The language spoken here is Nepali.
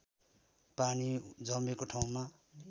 पानी जमेको ठाउँमा